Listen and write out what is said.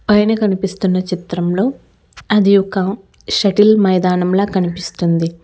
పైన కనిపిస్తున్న చిత్రంలో అది ఒక షెటిల్ మైదానంలా కనిపిస్తుంది.